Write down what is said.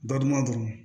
Badumadu